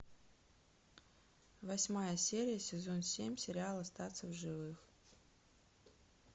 восьмая серия сезон семь сериал остаться в живых